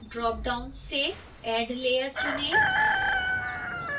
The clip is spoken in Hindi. ड्रापडाउन से add layer चुनें